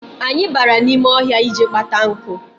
Anyị bara n'ime ọhịa ịje kpata nkụ.